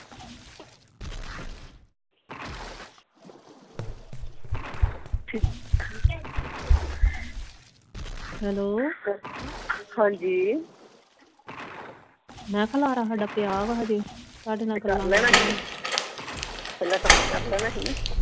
ਠੀਕ ਆ ਹੈਲੋ ਹਾਂਜੀ ਮੈਂ ਕਿਹਾ ਖਿਲਾਰਾ ਪਿਆ ਵਾ ਹਜੇ ਤੁਹਾਡੇ ਨਾਲ ਗੱਲਾਂ ਲੱਗੇ ਆਂ ਤੇ ਕਰ ਲੈਣਾ ਸੀ ਨਾ ਪਹਿਲਾਂ ਕੰਮ ਕਰ ਲੈਣਾ ਸੀ ਨਾ